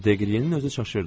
Deqriyenin özü çaşırdı.